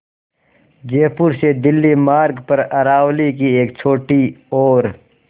जयपुर से दिल्ली मार्ग पर अरावली की एक छोटी और